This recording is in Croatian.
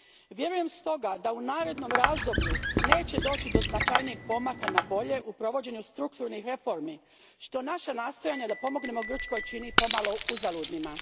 Vjerujem stoga da u narednom razdoblju neće doći do značajnijeg pomaka na bolje u provođenju strukturnih reformi, što naša nastojanja da pomognemo Grčkoj čini pomalo uzaludnima.